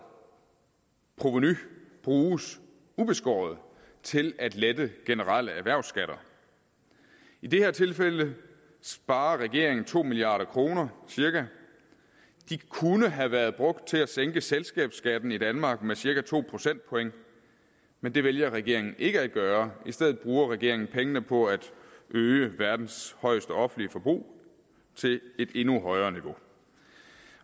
provenu bruges ubeskåret til at lette generelle erhvervsskatter i det her tilfælde sparer regeringen cirka to milliard kroner de kunne have været brugt til at sænke selskabsskatten i danmark med cirka to procentpoint men det vælger regeringen ikke at gøre i stedet bruger regeringen pengene på at øge verdens højeste offentlige forbrug til et endnu højere niveau